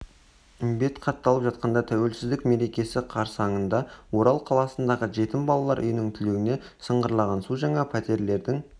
бет қатталып жатқанда тәуелсіздік мерекесі қарсаңында орал қаласындағы жетім балалар үйінің түлегіне сынғырлаған су жаңа пәтерлердің